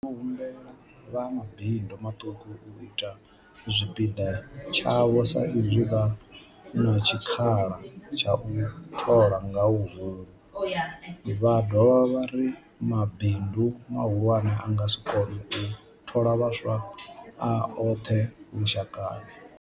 Vho humbela vha mabindu maṱuku u ita tshipiḓa tshavho sa izwi vha na tshikhala tsha u thola nga huhulu, vha dovha vha ri mabindu mahulwane a nga si kone u thola vhaswa a oṱhe lu shakani.